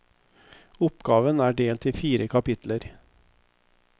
Oppgaven er delt i fire kapitler.